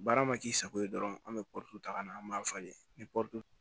Baara ma k'i sago ye dɔrɔn an be ta ka na an b'a falen ni